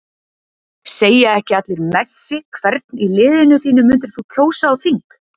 Segja ekki allir Messi Hvern í liðinu þínu myndir þú kjósa á þing?